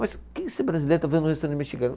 Mas você brasileiro está fazendo num restaurante mexicano?